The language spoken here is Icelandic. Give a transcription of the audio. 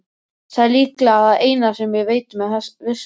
Það er líklega það eina sem ég veit með vissu.